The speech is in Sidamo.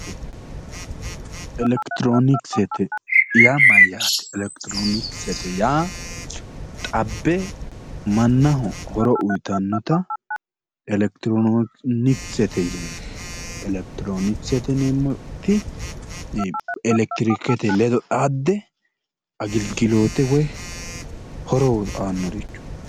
Elekitiroonikisete yaa mayaate? Elekitiroonikisete yaa xabbe mannaho horo uyiitannota elekitiroonisete yineemmo elekitiroonisete yineemmoti elekitrikete ledo xaadde agilgiloote woyi horo aannorichooti